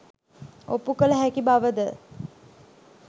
ඔප්පු කළ හැකි බවද?